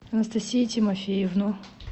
анастасию тимофеевну